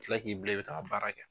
Tila k'i bila i bɛ taa baara kɛ.